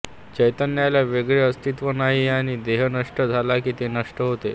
चैतन्याला वेगळे अस्तित्व नाही आणि देह नष्ट झाला की ते नष्ट होते